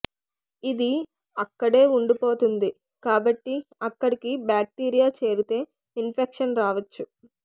ఇది అక్కడే ఉండిపోతుంది కాబట్టి అక్కడికి బ్యాక్టీరియా చేరితే ఇన్ఫెక్షన్ రావచ్చు